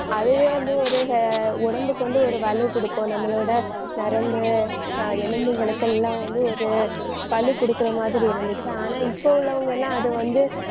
அதுவே வந்து ஒரு ஹ~ உடம்புக்கு வந்து ஒரு வலு கொடுக்கும். நம்மளோட நரம்பு அஹ் எலும்புகளுக்கெல்லாம் வந்து ஒரு வலு குடுக்கிற மாதிரி இருந்துச்சு. ஆனா இப்ப உள்ளவங்கெல்லாம் அதை வந்து